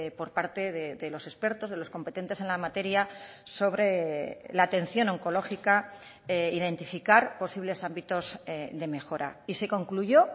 por parte de los expertos de los competentes en la materia sobre la atención oncológica identificar posibles ámbitos de mejora y se concluyó